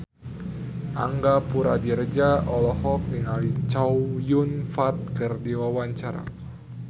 Angga Puradiredja olohok ningali Chow Yun Fat keur diwawancara